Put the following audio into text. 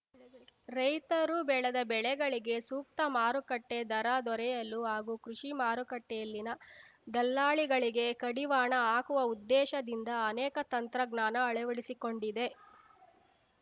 ರೈತರು ಬೆಳೆದ ಬೆಳೆಗಳಿಗೆ ಸೂಕ್ತ ಮಾರುಕಟ್ಟೆ ದರ ದೊರೆಯಲು ಹಾಗೂ ಕೃಷಿ ಮಾರುಕಟ್ಟೆಯಲ್ಲಿನ ದಲ್ಲಾಳಿಗಳಿಗೆ ಕಡಿವಾಣ ಹಾಕುವ ಉದ್ದೇಶದಿಂದ ಅನೇಕ ತಂತ್ರಜ್ಞಾನ ಅಳವಡಿಸಿಕೊಂಡಿದೆ